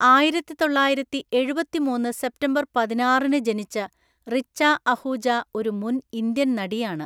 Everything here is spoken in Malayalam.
ആയിരത്തിതൊള്ളായിരത്തിഎഴുപത്തിമൂന്നു സെപ്റ്റംബർ പതിനാറിന് ജനിച്ച റിച്ച അഹൂജ ഒരു മുൻ ഇന്ത്യൻ നടിയാണ്.